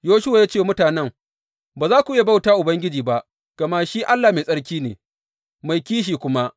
Yoshuwa ya ce wa mutanen, Ba za ku iya bauta wa Ubangiji ba gama shi Allah mai tsarki ne; mai kishi kuma.